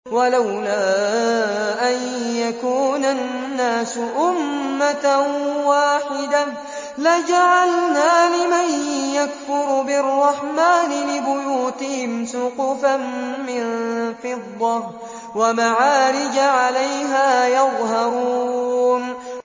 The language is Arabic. وَلَوْلَا أَن يَكُونَ النَّاسُ أُمَّةً وَاحِدَةً لَّجَعَلْنَا لِمَن يَكْفُرُ بِالرَّحْمَٰنِ لِبُيُوتِهِمْ سُقُفًا مِّن فِضَّةٍ وَمَعَارِجَ عَلَيْهَا يَظْهَرُونَ